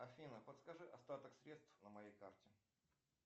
афина подскажи остаток средств на моей карте